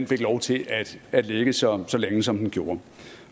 fik lov til at ligge så så længe som den gjorde